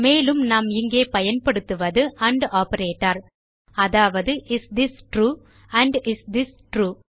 மேலும் நாம் இங்கே பயன்படுத்துவது ஆண்ட் ஆப்பரேட்டர் அதாவது is this true and is this true